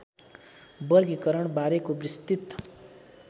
वर्गीकरण बारेको विस्तृत